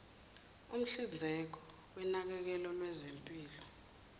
umhlinzeki wonakekelo lwezempilo